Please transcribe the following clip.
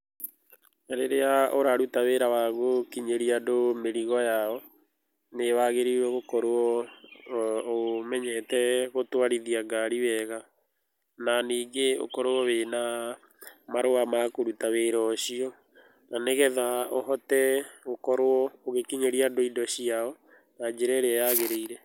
Na rĩrĩa ũraruta wĩra wa gũkinyĩria andũ mĩrigo yao, nĩ wagĩrĩirwo gũkorwo ũmenyete gũtwarithia ngari wega na ningĩ ũkorwo wĩna marũa ma kũruta wĩra ũcio, na nĩgetha ũhote gũkinyĩria andũ indo ciao na njĩra ĩrĩa yagĩrĩire.